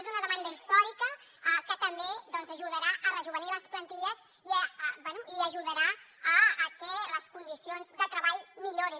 és una demanda històrica que també ajudarà a rejovenir les plantilles i bé ajudarà a que les condicions de treball millorin